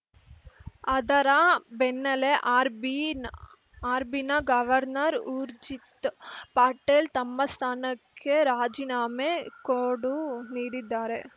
ಅದರ ಬೆನ್ನಲ್ಲೇ ಆರ್‌ಬಿ ಆರ್‌ಬಿನ ಗವರ್ನರ್‌ ಊರ್ಜಿತ್‌ ಪಟೇಲ್‌ ತಮ್ಮ ಸ್ಥಾನಕ್ಕೆ ರಾಜೀನಾಮೆ ಕೊಡು ನೀಡಿದ್ದಾರೆ